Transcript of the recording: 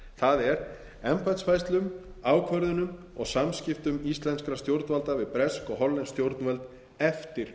það er embættisfærslum ákvörðunum og samskiptum íslenskra stjórnvalda við bresk og hollensk stjórnvöld eftir